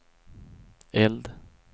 eld